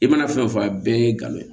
I mana fɛn o fɛn fɔ a bɛɛ ye galon ye